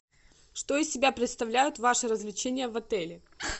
что из себя представляют ваши развлечения в отеле